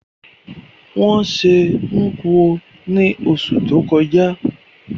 Wón se Nkwo ni osù to kojá